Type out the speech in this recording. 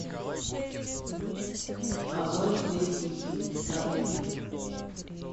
а зори здесь тихие старый фильм